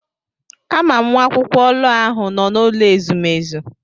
Ama m nwa akwụkwọ lọọ ahụ nọ na n'ụlọ ezumezu.